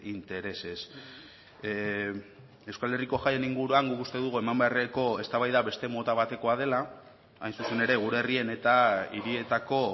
intereses euskal herriko jaien inguruan guk uste dugu eman beharreko eztabaida beste mota batekoa dela hain zuzen ere gure herrien eta hirietako